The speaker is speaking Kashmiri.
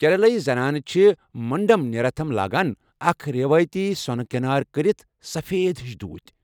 کیرلٲیی زنانہٕ چھِ منڈم نیریاتھم لاگان، اکھ روایتی سۄنہٕ كینٲرِ كرِتھ سفید ہِش دھوٗتۍ ۔